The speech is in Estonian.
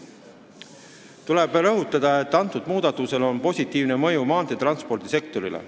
Tuleb veel rõhutada, et muudatusel on positiivne mõju maanteetranspordi sektorile.